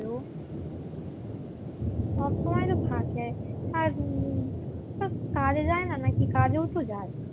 সব সময় তো থাকে আর উম কাজে যায় না নাকি কাজেও তো যায়